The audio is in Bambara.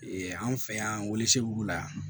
Ee anw fɛ yan were segu la